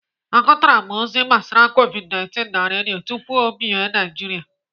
Agụtara m ozi gbasara Covid19 na Redio tupu ọ bị Naijiria.